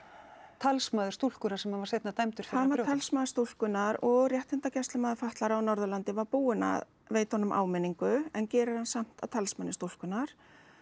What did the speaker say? talsmaður stúlkunnar sem hann var seinna dæmdur hann var talsmaður stúlkunnar og réttindagæslumaður fatlaðra á Norðurlandi var búinn að veita honum áminningu en gerir hann samt að talsmanni stúlkunnar